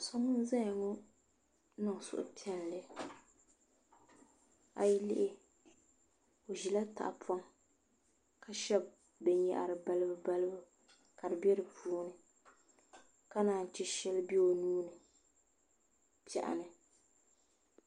So n ʒɛya ŋo n niŋ suhupiɛlli a yi lihi i ʒila tahapoŋ ka shɛbi binyahri ka koliba koliba ka di bɛ di puuni ka naan chɛ shɛli bɛ o nuuni n bɛ piɛɣu ni